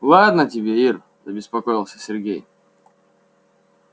ладно тебе ир забеспокоился сергей